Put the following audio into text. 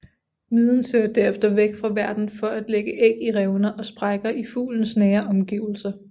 Miden søger derefter væk fra værten for at lægge æg i revner og sprækker i fuglens nære omgivelser